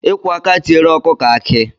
Ikwo aka tiere ọkụkọ akị.